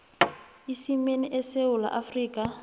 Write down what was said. isimeni esewula afrika